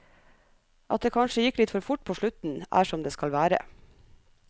At det kanskje gikk litt for fort på slutten, er som det skal være.